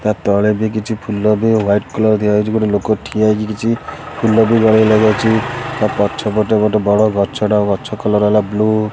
ତା ତଳେ ଭି କିଛି ଫୁଲରେ ୱାଇଟି କଲର୍ ଦିଆହେଇଛି ଗୋଟେ ଲୋକ ଠିଆ ହେଇକି କିଛି ଫୁଲର ତା ପଛପଟେ ଗୋଟେ ବଡ଼ ଗଛ ଟେ ଗଛ କଲର୍ ହେଲା ବ୍ଲୁ ।